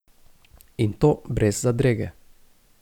In to brez zadrege.